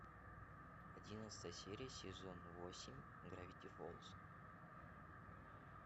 одиннадцатая серия сезон восемь гравити фолз